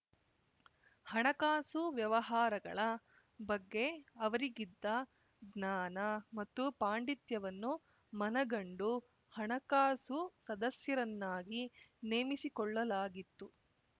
ಹಣಕಾಸು ವ್ಯವಹಾರಗಳ ಬಗ್ಗೆ ಅವರಿಗಿದ್ದ ಜ್ಞಾನ ಮತ್ತು ಪಾಂಡಿತ್ಯವನ್ನು ಮನಗಂಡು ಹಣಕಾಸು ಸದಸ್ಯರನ್ನಾಗಿ ನೇಮಿಸಿಕೊಳ್ಳಲಾಗಿತ್ತು